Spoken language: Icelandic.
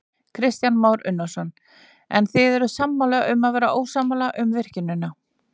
Kristján Már Unnarsson: En þið eruð sammála um að vera ósammála um virkjunina?